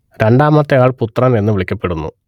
രണ്ടാമത്തെ ആൾ പുത്രൻ എന്ന് വിളിക്കപ്പെടുന്നു